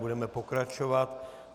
Budeme pokračovat.